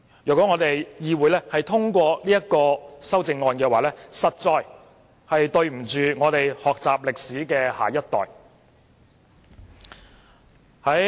如果議會通過此項修正案，實在對不起學習歷史的下一代。